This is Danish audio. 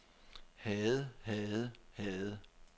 havde havde havde